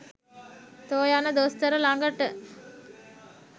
තො යන දොස්තර ලගට